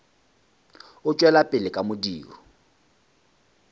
o tšwela pele ka modiro